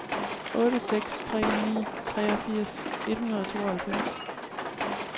otte seks tre ni treogfirs et hundrede og tooghalvfems